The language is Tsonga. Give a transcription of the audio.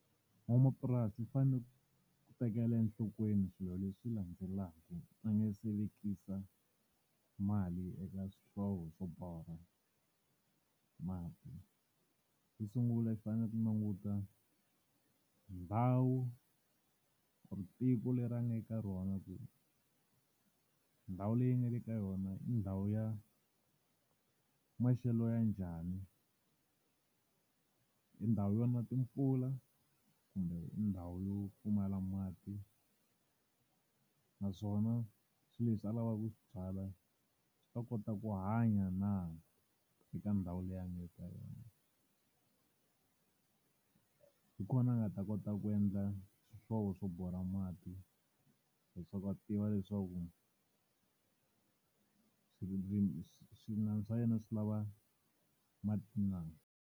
Van'wamapurasi va fanele ku tekela enhlokweni swilo leswi landzelaka va nga se vekisa mali eka swihlovo swo borha mati. Xo sungula i fanele ku languta ndhawu or tiko leri a nga le ka rona, ku ndhawu leyi nga le ka yona i ndhawu ya maxelo ya njhani. I ndhawu yona timpfula kumbe ndhawu yo pfumala mati, naswona swilo leswi a lavaka ku swi byala swi ta kota ku hanya na eka ndhawu leyi a nga le eka yona. Hi kona a nga ta kota ku endla swihlovo swo borha mati leswaku a tiva leswaku swimilana swa yena swi lava mati na.